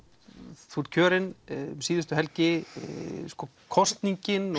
þú ert kjörin um síðustu helgi kosningin